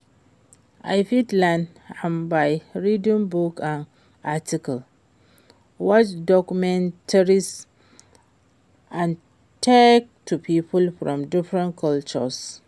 i fit learn am by reading books and articles, watch documentaries and talk to people from different cultures.